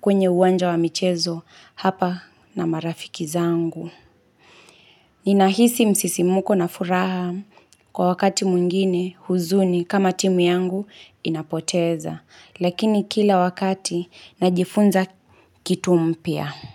kwenye uwanja wa michezo hapa na marafiki zangu. Ninahisi msisimko na furaha kwa wakati mwngine huzuni kama timu yangu inapoteza. Lakini kila wakati najifunza kitu mpya.